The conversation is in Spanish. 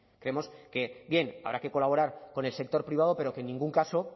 creemos que bien habrá que colaborar con el sector privado pero que en ningún caso